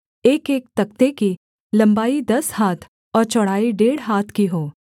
एकएक तख्ते की लम्बाई दस हाथ और चौड़ाई डेढ़ हाथ की हो